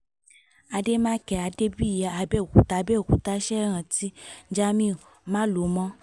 àdèmàkè adébíyí àbẹ̀òkúta àbẹ̀òkúta ṣẹ̀ rántí jamiu málòmọ́